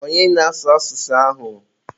onye na-asụ asụsụ ahụ?